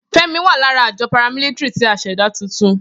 Femi wa lara ajọ paramilitary ti a ṣẹda tuntun.